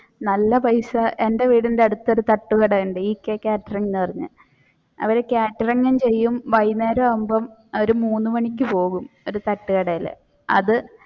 നല്ല പൈസ എന്റെ വീടിന്റെ അടുത്ത് ഒരു തട്ടുകടയുണ്ട് ek catering എന്ന് പറഞ്ഞു അവർ catering ചെയ്യും. വൈകുന്നേരം ആവുമ്പോൾ അവർ മൂന്ന് മണിക്ക് പോവും ഒരു തട്ടുകടയിൽ അത്